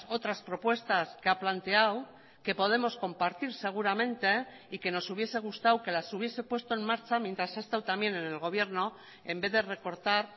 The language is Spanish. otras propuestas que ha planteado que podemos compartir seguramente y que nos hubiese gustado que las hubiese puesto en marcha mientras ha estado también en el gobierno en vez de recortar